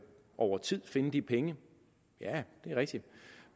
over tid finde de penge ja det er rigtigt